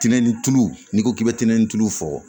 Tɛnɛni tulu n'i ko k'i bɛ tɛntɛn ni tulu fɔ